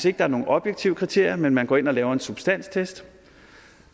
ikke er nogen objektive kriterier men at man går ind og laver en substanstest